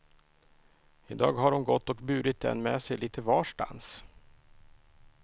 Idag har hon gått och burit den med sig lite varstans.